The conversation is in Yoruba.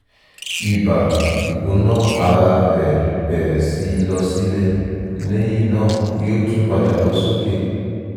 ibà/ìgbóná-ara rẹ̀ bẹ̀rẹ̀ síí lọ sílẹ̀ lẹ́yìn náà yó tún padà lọ sókè